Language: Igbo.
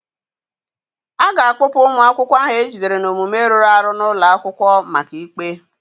A ga-akpụpụ ụmụ akwụkwọ ahụ ejidere n'omume rụrụ arụ n'ụlọ akwụkwọ maka ikpe.